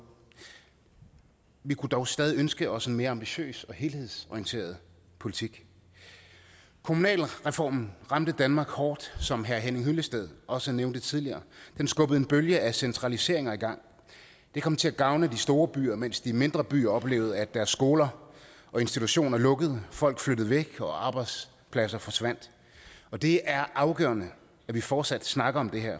vi kunne dog stadig ønske os en mere ambitiøs og helhedsorienteret politik kommunalreformen ramte danmark hårdt som herre henning hyllested også nævnte tidligere den skubbede en bølge af centraliseringer i gang og det kom til at gavne de store byer mens de mindre byer oplevede at deres skoler og institutioner lukkede folk flyttede væk og arbejdspladser forsvandt det er afgørende at vi fortsat snakker om det her